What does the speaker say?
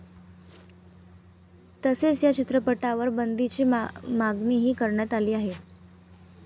तसेच या चित्रपटावर बंदीची मागणीही करण्यात आली आहे.